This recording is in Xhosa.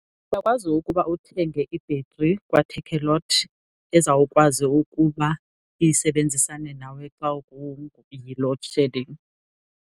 Uyakwazi ukuba uthenge i-battery kwaTakealot ezawukwazi ukuba isebenzisane nawe xa yi-loadshedding.